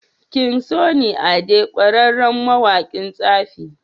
king sunny ade ƙwarere mawaƙin tsafi